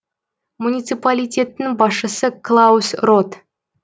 муниципалитеттің басшысы клаус рот